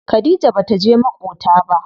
Khadija bata je maƙota ba.